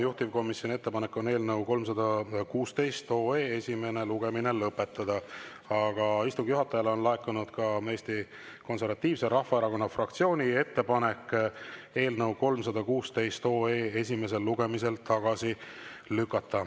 Juhtivkomisjoni ettepanek on eelnõu 316 esimene lugemine lõpetada, aga istungi juhatajale on laekunud ka Eesti Konservatiivse Rahvaerakonna fraktsiooni ettepanek eelnõu 316 esimesel lugemisel tagasi lükata.